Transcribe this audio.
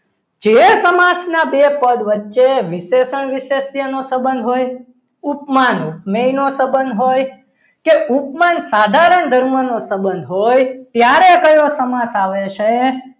જે સમાજના બે પદ વચ્ચે વિશેષણ વિષયનો સંબંધ હોય ઉપમાન ઉપમેય નો સંબંધ હોય કે ઉપમાન સાધારણ ધર્મનો સંબંધ હોય ત્યારે કયો સમાસ આવે છે?